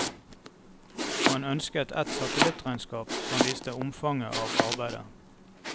Man ønsket et satellittregnskap som viste omfanget av arbeidet.